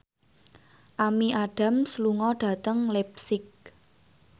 Amy Adams lunga dhateng leipzig